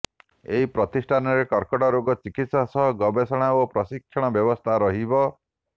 ଏହି ପ୍ରତିଷ୍ଠାନରେ କର୍କଟ ରୋଗ ଚିକିତ୍ସା ସହ ଗବେଷଣା ଓ ପ୍ରଶିକ୍ଷଣ ବ୍ୟବସ୍ଥା ରହିବ